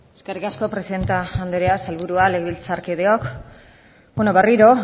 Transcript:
eskerrik asko presidente anderea sailburuak legebiltzarkideok berriro